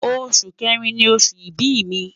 Oṣu Kẹrin ni oṣu ibi mi